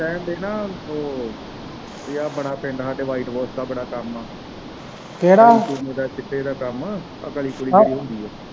ਕਹਿਣ ਦੇ ਨਾ ਉਹ ਯਾਰ ਬੜਾ ਪਿੰਡ ਹਾਡੇ white wash ਦਾ ਬੜਾ ਕੰਮ ਆ ਕਿਹੜਾ ਚਿੱਟੇ ਦਾ ਕੰਮ ਉਹ ਕਲੀ ਕੁਲੀ ਕਰਨੀ ਹੁੰਦੀ।